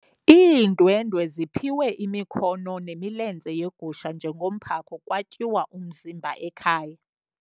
Iindwendwe ziphiwe imikhono nemilenze yegusha njengomphako kwatyiwa umzimba ekhaya.